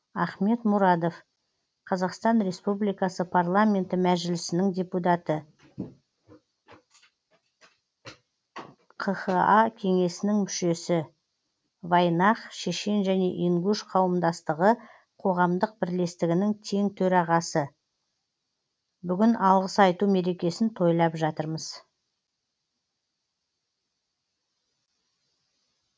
ахмед мурадов қазақстан республикасы парламенті мәжілісінің депутаты қха кеңесінің мүшесі вайнах шешен және ингуш қауымдастығы қоғамдық бірлестігінің тең төрағасы бүгін алғыс айту мерекесін тойлап жатырмыз